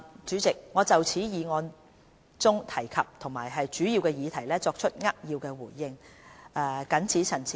主席，我就議案中提及的主要議題作出扼要的回應，謹此陳辭。